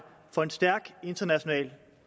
for en stærk international